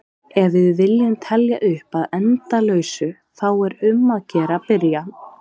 Ef við viljum telja upp að endalausu þá er um að gera að byrja!